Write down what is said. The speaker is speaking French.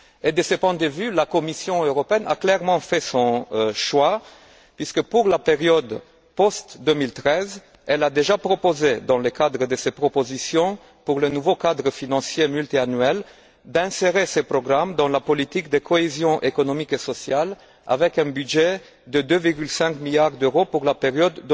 De ce point de vue, la Commission européenne a clairement fait son choix, puisque, pour la période d'après 2013, elle a déjà proposé dans le cadre de ses propositions concernant le nouveau cadre financier pluriannuel, d'inscrire ces programmes dans la politique de cohésion économique et sociale, avec un budget de 2,5 milliards d'euros pour la période